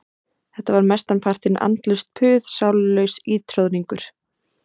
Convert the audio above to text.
Þetta var mestan partinn andlaust puð, sálarlaus ítroðningur.